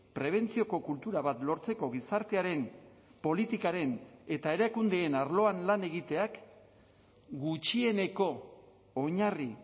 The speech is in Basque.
prebentzioko kultura bat lortzeko gizartearen politikaren eta erakundeen arloan lan egiteak gutxieneko oinarri